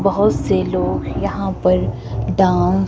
बहोत से लोग यहां पर डांस --